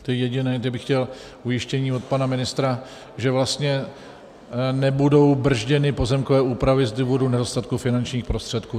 To je jediné, kde bych chtěl ujištění od pana ministra, že vlastně nebudou brzděny pozemkové úpravy z důvodu nedostatku finančních prostředků.